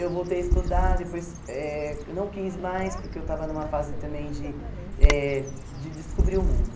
Eu voltei a estudar, depois eh não quis mais, porque eu estava numa fase também de eh de descobrir o mundo.